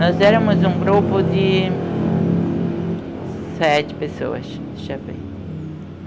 Nós éramos um grupo de... sete pessoas, deixa eu ver.